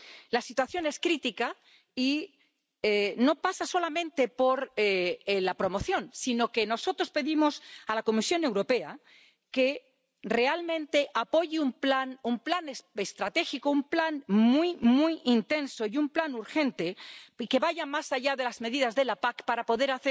La situación es crítica y no pasa solamente por la promoción, sino que nosotros pedimos a la Comisión Europea que realmente apoye un plan, un plan estratégico, un plan muy intenso y un plan urgente y que vaya más allá de las medidas de la PAC para poder